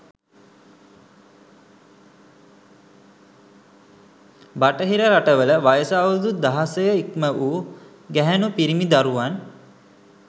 බටහිර රටවල වයස අවුරුදු දහසය ඉක්ම වූ ගැහැණූ පිිරිමි දරුවන්